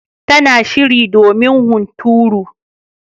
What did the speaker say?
Tana shirin domin hunturu.